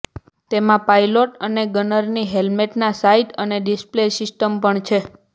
તેમાં પાઇલોટ અને ગનરની હેલ્મેટમાં સાઇટ અને ડિસ્પ્લે સિસ્ટમ પણ છે